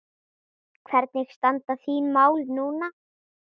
Hvernig standa þín mál núna?